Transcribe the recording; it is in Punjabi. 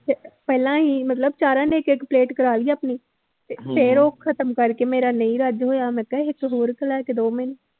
ਤੇ ਪਹਿਲਾਂ ਅਸੀਂ ਮਤਲਬ ਚਾਰਾਂ ਨੇ ਇੱਕ ਇੱਕ ਪਲੇਟ ਕਰਵਾ ਲਈ ਆਪਣੀ ਤੇ ਫਿਰ ਉਹ ਖ਼ਤਮ ਕਰਕੇ ਮੇਰਾ ਨਹੀਂ ਰੱਜ ਹੋਇਆ ਮੈਂ ਕਿਹਾ ਇੱਕ ਹੋਰ ਲੈ ਕੇ ਦਓ ਮੈਨੂੰ